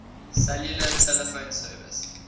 cellular telephone service